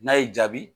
N'a y'i jaabi